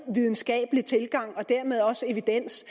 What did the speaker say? videnskabelig tilgang og dermed også evidens